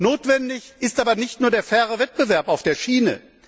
Notwendig ist aber nicht nur der faire Wettbewerb auf der Schiene.